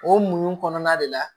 O muɲu kɔnɔna de la